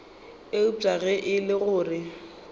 eupša ge e le gore